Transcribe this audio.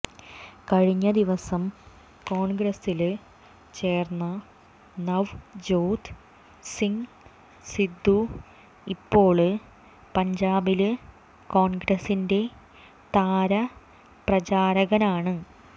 കഴിഞ്ഞ ദിവസം കോണ്ഗ്രസില് ചേര്ന്ന നവ്ജോത് സിംഗ് സിദ്ദു ഇപ്പോള് പഞ്ചാബില് കോണ്ഗ്രസിന്റെ താരപ്രചാരകനാണ്